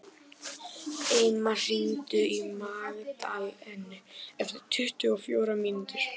Eymar, hringdu í Magdalenu eftir tuttugu og fjórar mínútur.